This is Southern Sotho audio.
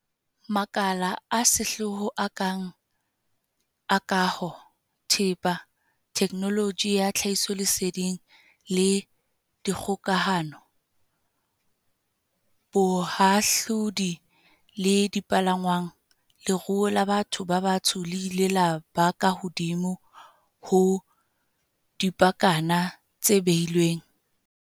Makaleng a sehlooho a kang a kaho, thepa, theknoloji ya tlhahisoleseding le dikgokahano, bohahlaodi le dipalangwang, leruo la batho ba batsho le ile la ba ka hodimo ho dipakana tse behilweng.